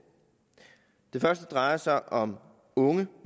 det første drejer sig om unge